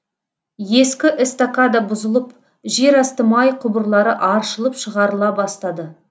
ескі эстакада бұзылып жерасты май құбырлары аршылып шығарыла бастады